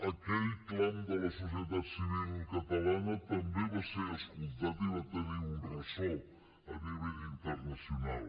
aquell clam de la societat civil catalana també va ser escoltat i va tenir un ressò a nivell internacional